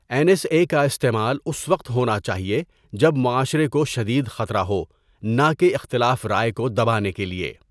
N S A کا استعمال اس وقت ہونا چاہیے ہے جب معاشرے کو شدید خطرہ ہو، نہ کہ اختلاف رائے کو دبانے کے لیے۔